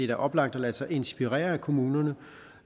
da oplagt at lade sig inspirere af kommunerne